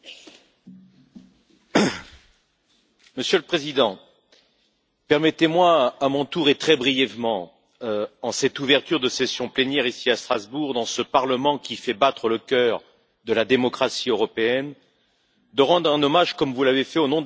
Monsieur le Président, permettez moi, à mon tour, et très brièvement, en cette ouverture de séance plénière, ici à Strasbourg, dans ce Parlement qui fait battre le cœur de la démocratie européenne, de rendre un hommage, comme vous l'avez fait, au nom de la délégation française du groupe PPE, que je préside,